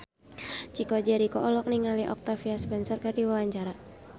Chico Jericho olohok ningali Octavia Spencer keur diwawancara